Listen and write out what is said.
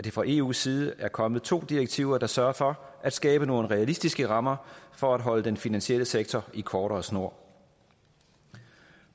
fra eus side er kommet to direktiver der sørger for at skabe nogle realistiske rammer for at holde den finansielle sektor i kortere snor